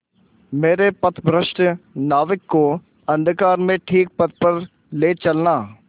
मेरे पथभ्रष्ट नाविक को अंधकार में ठीक पथ पर ले चलना